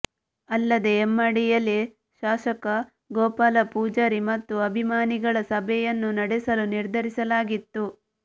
ಅಲ್ಲದೇ ಹೆಮ್ಮಾಡಿಯಲ್ಲಿ ಶಾಸಕ ಗೋಪಾಲ ಪೂಜಾರಿ ಮತ್ತು ಅಭಿಮಾನಿಗಳ ಸಭೆಯನ್ನು ನಡೆಸಲು ನಿರ್ಧರಿಸಲಾಗಿತ್ತು